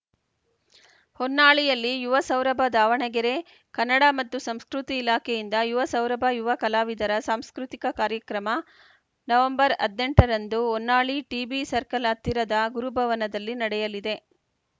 ಹೊನ್ನಾಳಿಯಲ್ಲಿ ಯುವ ಸೌರಭ ದಾವಣಗೆರೆ ಕನ್ನಡ ಮತ್ತು ಸಂಸ್ಕೃತಿ ಇಲಾಖೆಯಿಂದ ಯುವ ಸೌರಭ ಯುವ ಕಲಾವಿದರ ಸಾಂಸ್ಕೃತಿಕ ಕಾರ್ಯಕ್ರಮ ಹದ್ನೆಂಟು ರಂದು ಹೊನ್ನಾಳಿ ಟಿಬಿ ಸರ್ಕಲ್‌ ಹತ್ತಿರದ ಗುರುಭವನದಲ್ಲಿ ನಡೆಯಲಿದೆ